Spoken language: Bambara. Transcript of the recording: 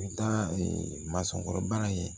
U bɛ taa mansɔnkɔrɔbana ye